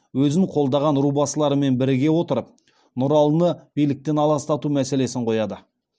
өзін қолдаған рубасыларымен біріге отырып нұралыны биліктен аластау мәселесін қояды